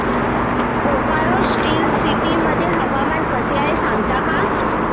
Bokaro steel city मध्ये हवामान कसे आहे सांगता का